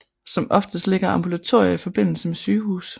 Som oftest ligger ambulatorier i forbindelse med sygehuse